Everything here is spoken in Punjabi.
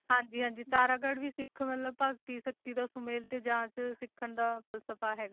ਹਾਂਜੀ ਹਾਂਜੀ ਤਾਰਾਗੜ੍ਹ ਵੀ ਸਿੱਖ ਮਤਲਬ ਭਗਤੀ ਸ਼ਕਤੀ ਦਾ ਸੁਮੇਲ ਤੇ ਜਾਂਚ ਸਿੱਖਣ ਦਾ ਫਲਸਫਾ ਹੈ,